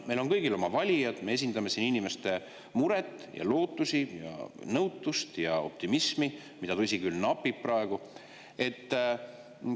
Meil on kõigil oma valijad, me esindame siin inimeste muret ja lootust ja nõutust ja optimismi, mida, tõsi küll, praegu napib.